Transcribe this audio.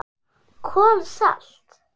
KOL SALT